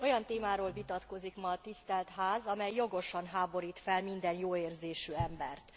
Olyan témáról vitatkozik ma a Tisztelt Ház, amely jogosan háborít fel minden jóérzésű embert.